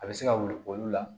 A bɛ se ka wuli olu la